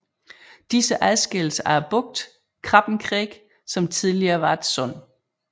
Disse adskilles af bugten Krabbenkreek som tidligere var et sund